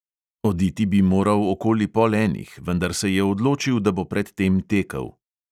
Oditi bi moral okoli pol enih, vendar se je odločil, da bo pred tem tekel.